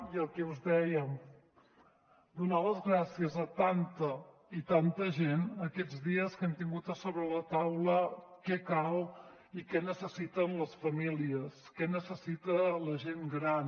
i el que us dèiem donar les gràcies a tanta i tanta gent aquests dies que hem tingut a sobre la taula què cal i què necessiten les famílies què necessita la gent gran